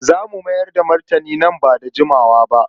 Za mu mayar da martani nan ba da jimawa ba.